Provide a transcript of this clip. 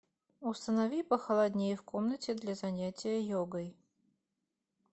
установи похолоднее в комнате для занятия йогой